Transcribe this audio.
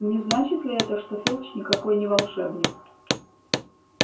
не значит ли это что филч никакой не волшебник